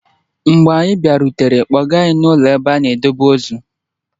Mgbe anyị bịarutere, kpọga anyị n'ụlọ ebe a na-edebe ozu.